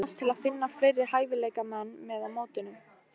Eruði að vonast til að finna fleiri hæfileikamenn með á mótinu?